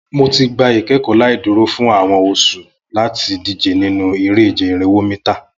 Mo ti gba ikẹkọ laiduro fun awọn oṣu lati dije ninu ere-ije irinwo mita